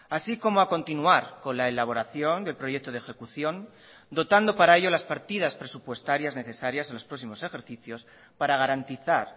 así como a continuar con la elaboración del proyecto de ejecución dotando para ello las partidas presupuestarias necesarias en los próximos ejercicios para garantizar